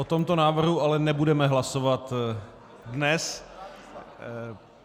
O tomto návrhu ale nebudeme hlasovat dnes.